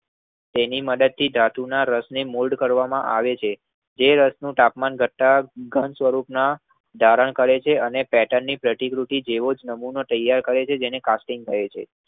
તેનીમદદ્થી રાસની મુલ્ડ કરવાંમાં આવે છે. જે રસનું તાપમાન ઘટતા ઘંટ સ્વરૂપમાં ધારણ કરે છે અને પેટર્ન ની પ્રતિકૃતિ જેવોજ નમૂનો તૈયાર થાય છે જેને કારપિંગ કહે છે.